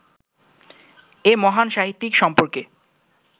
এ মহান সাহিত্যিক সম্পর্কে